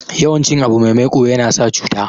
yawan cin abu mai maiko yana sa cuta